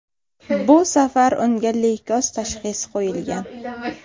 Bu safar unga leykoz tashxisi qo‘yilgan.